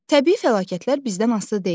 Təbii fəlakətlər bizdən asılı deyil.